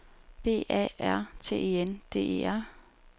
B A R T E N D E R